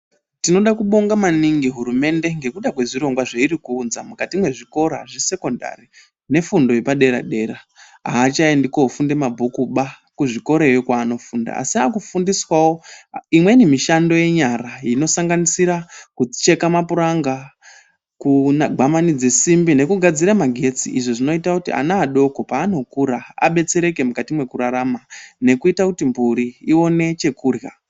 Tinoda kubonga maningi hurumende ngekuda kwezvirongwa zveiri kuunza mwukati mwezvikora zvesekondari nefundo yepadera-dera. Haachaendi kofunde mabhukuba kuzvikoroyo kwaanofunda, Asi akufundiswawo imweni mishando yenyara inosanganisira kucheka mapuranga, kugwamanidze simbi nekugadzire magetsi. Izvi zvinoita kuti ana adoko paanokura abetsereke mukati mwekurarama nekuita kuti mburi ione chekurya.